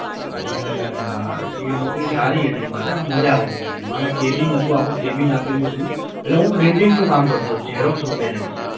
હવે એ નોકરી સારી હતી મારે આમ મજા આવતી હતી મને. મારે cabin હતું આખું cabin આપેલું હતું એટલે હું printing નું કામ કરતો હતો xerox વગેરે નું